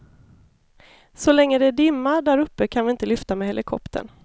Så länge det är dimma där uppe kan vi inte lyfta med helikoptern.